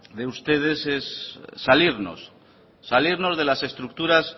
de ustedes es salirnos salirnos de las estructuras